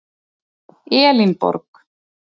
Elínborg